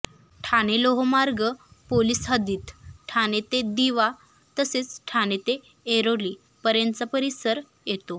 ठाणे लोहमार्ग पोलीस हद्दीत ठाणे ते दिवा तसेच ठाणे ते ऐरोली पर्यंतचा परीसर येतो